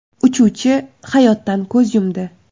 Uchuvchi hayotdan ko‘z yumdi.